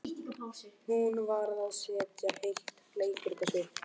Hún varð að setja heilt leikrit á svið.